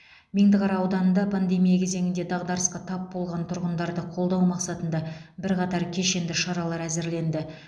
меңдіқара ауданында пандемия кезеңінде дағдарысқа тап болған тұрғындарды қолдау мақсатында бірқатар кешенді шаралар әзірленді